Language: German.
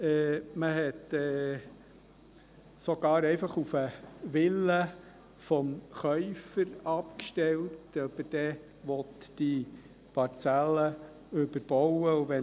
Man hat sogar einfach auf den Willen des Käufers abgestellt, ob er die Parzelle überbauen wolle.